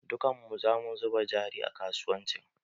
Dukkan mu sa mu zuba jari a kasuwancin